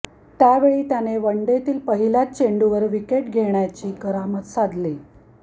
त्यावेळी त्याने वनडेतील पहिल्याच चेंडूवर विकेट घेण्याची करामत साधली